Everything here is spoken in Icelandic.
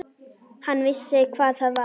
Hann vissi hvað það var.